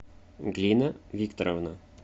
глина викторовна